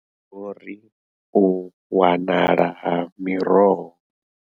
Vho ri, U wanala ha miroho.